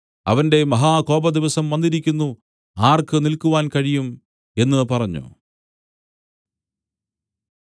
അവന്റെ മഹാകോപദിവസം വന്നിരിക്കുന്നു ആർക്ക് നില്ക്കുവാൻ കഴിയും എന്നു പറഞ്ഞു